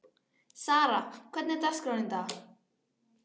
Sara, hvernig er dagskráin í dag?